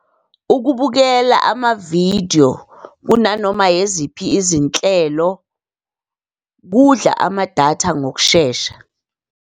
Ukubukela amavidiyo kunanoma yeziphi izinhlelo, kudla amadatha ngokushesha.